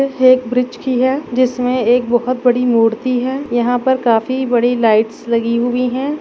ये एक ब्रिज की है जिसमें एक बहुत बड़ी मूर्ति है यहाँ हा पर काफी बड़ी लाइटस् लगी हुई है।